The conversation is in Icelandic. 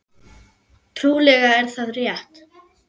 Trúlega er það rétt.